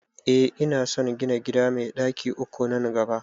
Eh ina son gina gida mai ɗaki uku nan gaba